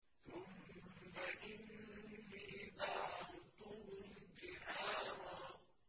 ثُمَّ إِنِّي دَعَوْتُهُمْ جِهَارًا